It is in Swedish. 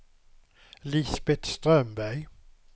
Lisbeth Strömberg